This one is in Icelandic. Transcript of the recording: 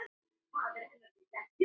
Þessar fréttir snerta hann líka.